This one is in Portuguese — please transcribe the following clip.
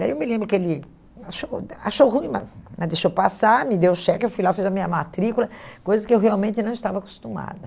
Daí eu me lembro que ele achou achou ruim, mas mas deixou passar, me deu o cheque, eu fui lá, fiz a minha matrícula, coisa que eu realmente não estava acostumada.